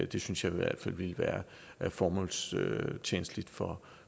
det synes jeg i hvert fald ville være formålstjenligt for